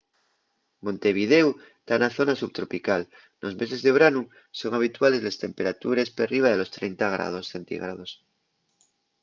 montevidéu ta na zona subtropical; nos meses de branu son habituales les temperatures perriba de los 30ºc,